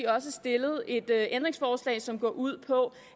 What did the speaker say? også stillet et ændringsforslag som går ud på